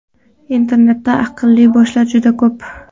Internetda aqlli boshlar juda ko‘p.